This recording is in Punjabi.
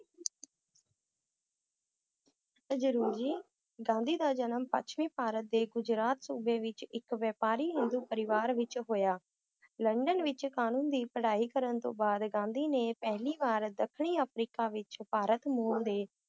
ਅ~ ਜਰੂਰ ਜੀ ਗਾਂਧੀ ਦਾ ਜਨਮ ਪੱਛਮੀ ਭਾਰਤ ਦੇ ਗੁਜਰਾਤ ਸੂਬੇ ਵਿਚ ਇੱਕ ਵਪਾਰੀ ਹਿੰਦੂ ਪਰਿਵਾਰ ਵਿਚ ਹੋਇਆ ਲੰਡਨ ਵਿਚ ਕਾਨੂੰਨ ਦੀ ਪੜ੍ਹਾਈ ਕਰਨ ਤੋਂ ਬਾਅਦ ਗਾਂਧੀ ਨੇ ਪਹਿਲੀ ਵਾਰ ਦੱਖਣੀ ਅਫ੍ਰੀਕਾ ਵਿਚ ਭਾਰਤ ਮੂਲ ਦੇ